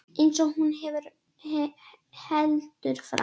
Eins og hún heldur fram.